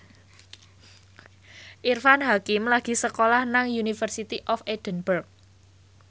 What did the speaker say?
Irfan Hakim lagi sekolah nang University of Edinburgh